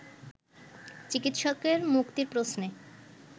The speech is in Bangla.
চিকিৎসকের মুক্তির প্রশ্নে